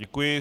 Děkuji.